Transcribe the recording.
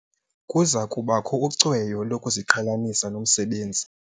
Kuza kubakho ucweyo lokuziqhelanisa nomsebenzi.